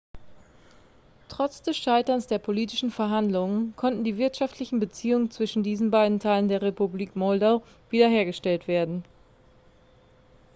trotz des scheiterns der politischen verhandlungen konnten die wirtschaftlichen beziehungen zwischen diesen beiden teilen der republik moldau wiederhergestellt werden